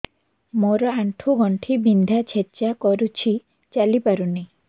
ମୋର ଆଣ୍ଠୁ ଗଣ୍ଠି ବିନ୍ଧା ଛେଚା କରୁଛି ଚାଲି ପାରୁନି